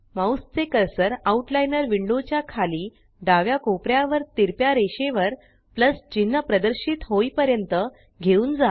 mouse चे cursor outliner window च्या खाली डाव्या कोपऱ्यावर तिरप्या रेषेवर प्लस चिन्ह प्रदर्शित होईपर्यंत घेऊन जा